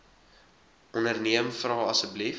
onderneem vra asseblief